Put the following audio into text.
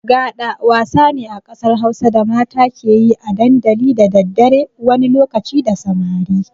Gaɗa wasa ne a ƙasar Hausa da mata ke yi a dandali da daddare wani lokaci da samari.